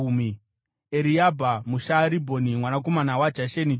Eriabha muShaaribhoni, mwanakomana waJasheni, Jonatani